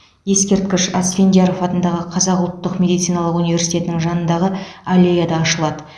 ескерткіш асфендияров атындағы қазақ ұлттық медициналық университетінің жанындағы аллеяда ашылады